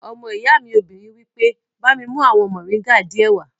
Ọmọ ìyá mi obìnrin wí pé, "bá mi mú àwọn mọ̀ríńgà díẹ̀ wá!"